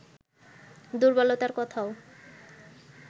দুর্বলতার কথাও